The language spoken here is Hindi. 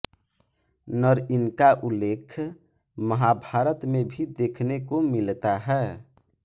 नरइनका उल्लेख महाभारत में भी देखने को मिलता है